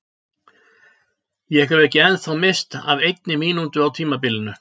Ég hef ekki ennþá misst af einni mínútu á tímabilinu!